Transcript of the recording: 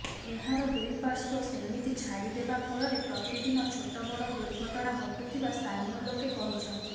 ଏହାର ଦୁଇ ପାର୍ଶ୍ୱ ସେମିତି ଛାଡ଼ି ଦେବା ଫଳରେ ପ୍ରତିଦିନ ଛୋଟବଡ଼ ଦୁର୍ଘଟଣା ଘଟୁଥିବା ସ୍ଥାନୀୟ ଲୋକେ କହିଛନ୍ତି